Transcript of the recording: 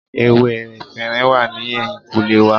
Ewé efinrin wà ní ẹ̀yìnkùlé wa